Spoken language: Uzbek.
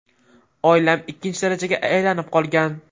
Oilam ikkinchi darajaga aylanib qolgan.